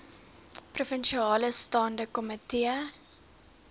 provinsiale staande komitee